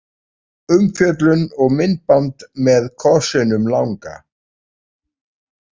Umfjöllun og myndband með kossinum langa